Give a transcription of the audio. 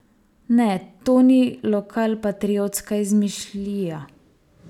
Ne, to ni lokalpatriotska izmišljija!